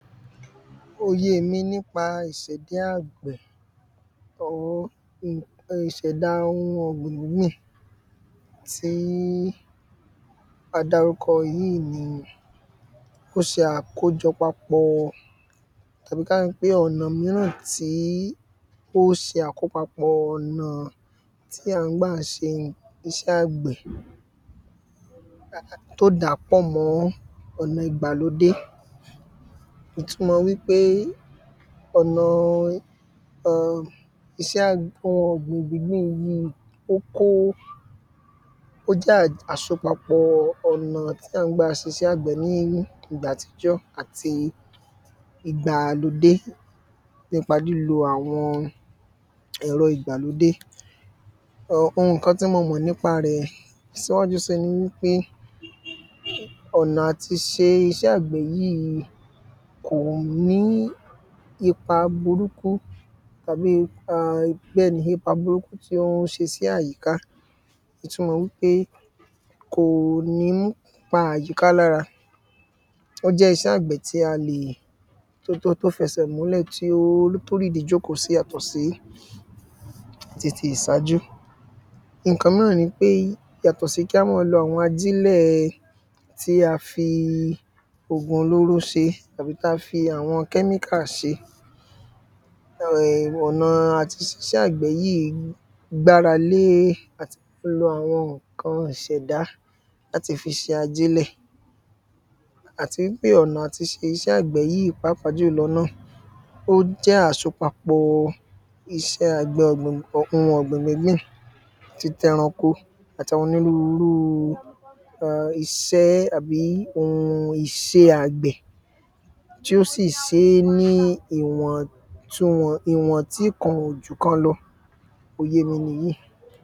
Òye mi nípa ìsẹ̀dá ọ̀gbìn àwọn ohun ìṣẹ̀dá ohun ọ̀gbìn yìí tí a dárúkọ yìí ni ó ṣe àkójọpapọ̀ tàbí ká sọ pé ọ̀nà míràn tí ó se àkópapọ̀ ònà tí à ń gbà ṣe iṣẹ́ àgbẹ̀ tó dàá pọ̀ mọ́ ọ̀nà ìgbàlódé Ìtumọ wípé ọ̀nà iṣẹ́ ohun ọ̀gbìn gbíngbìn yìí ni ó kó ó jẹ́ àsopapọ̀ ònà tá ń gbà sisẹ́ àgbẹ̀ ní ìgbà àtijọ́ àti ìgbàlódé nípa lílo àwọn ẹ̀rọ ìgbàlódé. Ohun nǹkan tí mo mọ̀ nípa rẹ̀ síwájú sí nipé ọ̀nà àti ṣe iṣẹ́ àgbẹ̀ yìí ni kò ní ipa burúkú tàbí ipa bẹ́ẹ̀ ní ipa burúkú tó ń ṣe sí àyíká ìtumọ wípé kò ní pa àyíká lára. Ó jẹ́ iṣẹ́ àgbẹ̀ tí a lè tó jẹ́ tó fẹsẹ̀ múlẹ̀ tí ó rídi jókòó sí tó yàtọ̀ sí titi ìsàjú. Nǹkã míràn ni pé yàtọ̀ sí kí á má lo àwọn ajílẹ̀ tí a fi òògùn olóró ṣe tàbí tí a fi àwọn kẹ́míkà ṣe. um ọ̀nà àti ṣiṣẹ́ àgbẹ̀ yìí ni le gbára lè àti gbogbo àwọn nǹkan ìṣẹ̀dá láti fi ṣe ajílẹ̀. Àti wípé ọ̀nà àti ṣe iṣẹ́ àgbẹ̀ yìí pàápàá jùlọ náà ó jẹ́ àsopapọ̀ iṣẹ́ ohun ọ̀gbìn gbíngbìn titẹranko àti onírúrú ẹ iṣẹ́ àti ohun ìṣe àgbẹ̀ tí ó sì ṣe ní ìwọn tíkan ò jù kan lọ òye mi nìyìí.